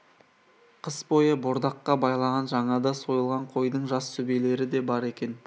қыс бойы бордаққа байлаған жаңада сойылған қойдың жас сүбелері де бар екен